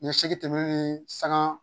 Ni segin tɛ tɛmɛ ni sanŋaa